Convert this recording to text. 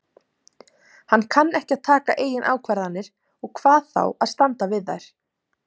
Hann kann ekki að taka eigin ákvarðanir og hvað þá að standa við þær.